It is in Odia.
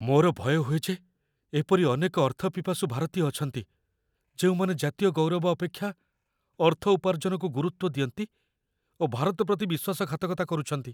ମୋର ଭୟ ହୁଏ ଯେ ଏପରି ଅନେକ ଅର୍ଥପିପାସୁ ଭାରତୀୟ ଅଛନ୍ତି, ଯେଉଁମାନେ ଜାତୀୟ ଗୌରବ ଅପେକ୍ଷା ଅର୍ଥ ଉପାର୍ଜନକୁ ଗୁରୁତ୍ୱ ଦିଅନ୍ତି ଓ ଭାରତ ପ୍ରତି ବିଶ୍ୱାସଘାତକତା କରୁଛନ୍ତି।